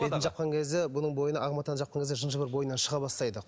бетін жапқан кезде бұның бойына ақ матаны жапқан кезде жын жыбыр бойынан шыға бастайды